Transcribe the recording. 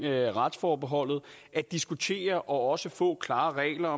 retsforholdet at diskutere og også få klare regler